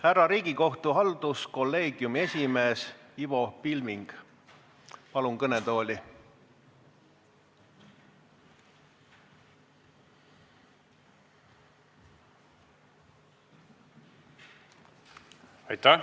Härra Riigikohtu halduskolleegiumi esimees Ivo Pilving, palun kõnetooli!